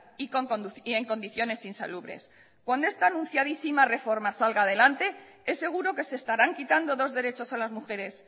y en condiciones insalubres cuando esta anunciadísima reforma salga adelante es seguro que se estarán quitando dos derechos a las mujeres